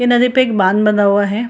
ये नदी पे एक बांध बना हुआ है।